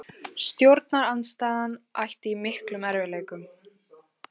Stjórnarandstaðan ætti í miklum erfiðleikum